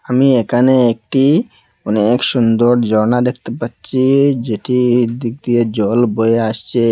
আমি এখানে একটি অনেক সুন্দর জর্না দেখতে পাচ্ছি যেটির দিক দিয়ে জল বয়ে আসছে।